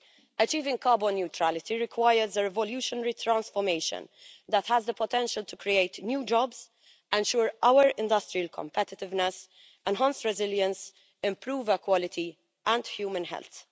Achieving carbon neutrality requires a revolutionary transformation that has the potential to create new jobs, ensure our industrial competitiveness, enhance resilience, and improve air quality and human health.